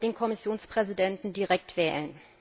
den Kommissionspräsidenten direkt wählen.